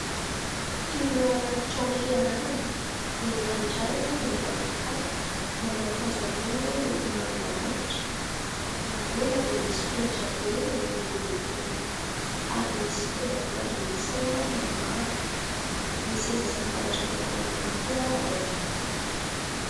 Toy ny ao anaty trano fianarana. Lehilahy iray mibaby kitapo, manao akanjo ambony miloko manga antitra. Erÿ anoloana dia misy solaitra be lehibe dia lehibe ary misy fitaovam-pandrenesana maromaro, misy seza sy latabatra maromaro ihany koa ao anatiny.